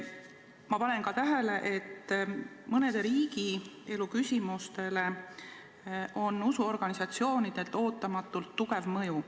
Ma panen ka tähele, et mõnele riigielu küsimusele on usuorganisatsioonidel ootamatult tugev mõju.